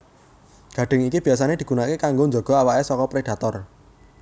Gadhing iki biyasané digunakaké kanggo njaga awaké saka predator